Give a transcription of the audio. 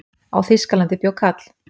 á þýskalandi bjó kall